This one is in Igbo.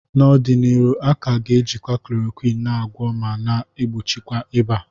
N'ọdịnihu a ka ga-ejikwa Chloroquine na agwọ ma na egbochikwa ịba